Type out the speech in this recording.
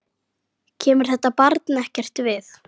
Kemur þetta barn ekkert við.